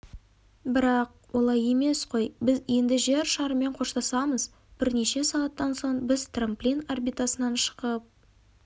бірақ олай емес қой біз енді жер шарымен қоштасамыз бірнеше сағаттан соң біз трамплин орбитасынан шығып